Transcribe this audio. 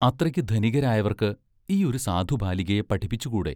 അത്രയ്ക്ക് ധനികരായവർക്ക് ഈ ഒരു സാധുബാലികയെ പഠിപ്പിച്ചുകൂടെ?